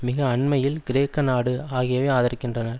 மிக அண்மையில் கிரேக்க நாடு ஆகியவை ஆதரிக்கின்றன